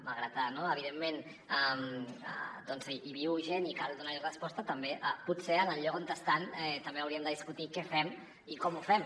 malgrat que evidentment hi viu gent i cal donar hi resposta potser en el lloc on estan també hauríem de discutir què fem i com ho fem